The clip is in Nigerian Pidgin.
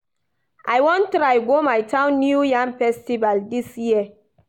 I wan try go my town new yam festival dis year